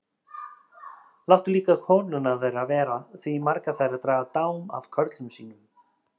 Láttu líka konurnar þeirra vera því margar þeirra draga dám af körlum sínum.